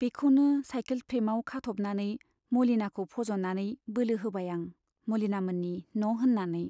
बेखौनो साइकेल फ्रेमआव खाथ'बनानै मलिनाखौ फज'नानै बोलो होबाय आं मलिनामोननि न' होन्नानै।